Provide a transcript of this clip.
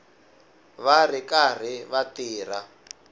va ri karhi va tirha